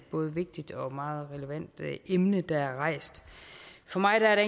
både vigtigt og meget relevant emne der er rejst for mig er